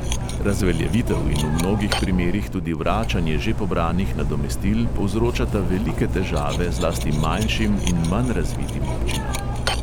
Razveljavitev in v mnogih primerih tudi vračanje že pobranih nadomestil povzročata velike težave zlasti manjšim in manj razvitim občinam.